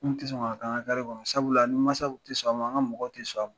N tɛ sɔn k'a kɛ an ka kari kɔnɔ, sabula mansaw tɛ sɔn, an ka mɔgɔw tɛ sɔn a ma.